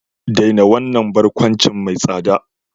Daina wannan barkwanci mai tsada!